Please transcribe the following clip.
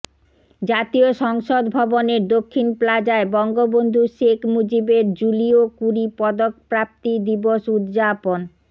জাতীয় সংসদ ভবনের দক্ষিণ প্লাজায় বঙ্গবন্ধু শেখ মুজিবের জুলিও কুরি পদক প্রাপ্তি দিবস উদযাপন